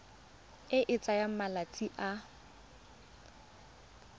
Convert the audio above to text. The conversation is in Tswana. e e tsayang malatsi a